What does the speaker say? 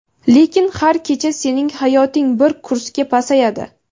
lekin har kecha sening hayoting bir kursga pasayadi.